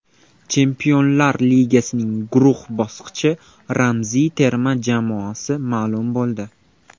Chempionlar Ligasining guruh bosqichi ramziy terma jamoasi ma’lum bo‘ldi.